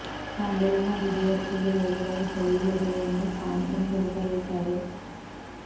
ತಾಂಬೂಲ ಹಾಗೂ ದೇವರ ಪೂಜೆಗಳಲ್ಲಿ ಬಳಸುವ ವೀಳ್ಯದೆಲೆಯನ್ನು ಪಾನ್ ಎಂತಲೂ ಕರೆಯುತ್ತಾರೆ